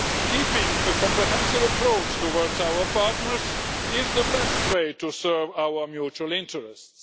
Keeping a comprehensive approach towards our partners is the best way to serve our mutual interests.